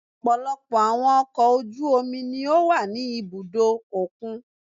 Ọ̀pọ̀lọpọ̀ àwọn ọkọ̀ ojú omi ni ó wà ní ibùdó òkun.